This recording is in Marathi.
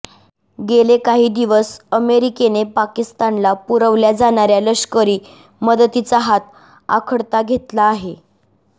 गेले काही दिवस अमेरिकेने पाकिस्तानला पुरवल्या जाणाऱ्या लष्करी मदतीचा हात आखडता घेतला आहे